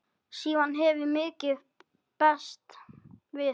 Síðan hefur mikið bæst við.